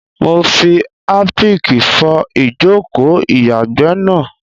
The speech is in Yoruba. Mo fi Harpic fọ ìjòkó o ìyàgbẹ́ náà.